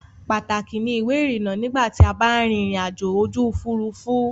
Pàtàkì ni ìwé-ìrinnà nígbà tí a ba ń rin ìrìnajò ojú ̀furufú.